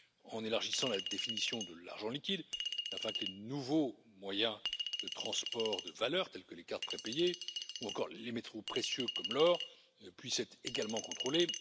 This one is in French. en élargissant la définition de l'argent liquide afin que les nouveaux moyens de transport de valeurs, tels que les cartes prépayées ou encore les métaux précieux comme l'or, puissent être également contrôlés